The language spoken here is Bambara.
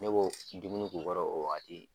Ne bo dumuni k'u kɔrɔ o wagati.